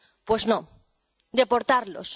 Pues no deportarlos